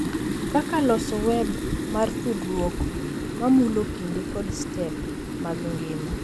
Kaka loso web mar tudruok ma mulo kinde kod step mag ngima.